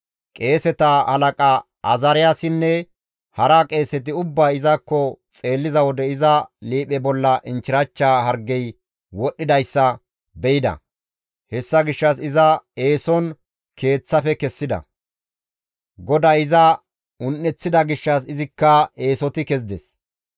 Qeeseta halaqa Azaariyaasinne hara qeeseti ubbay izakko xeelliza wode iza liiphe bolla inchchirachcha hargey wodhdhidayssa be7ida; hessa gishshas iza eeson Keeththafe kessida; GODAY iza un7eththida gishshas izikka eesoti kezides.